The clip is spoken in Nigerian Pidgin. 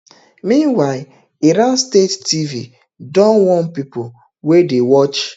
meanwhile iran state tv don warn pipo wey dey watch